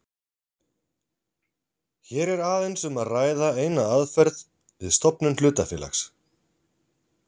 Hér er aðeins um að ræða eina aðferð við stofnun hlutafélags.